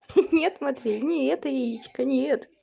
ха-ха нет матвей не это яичко нет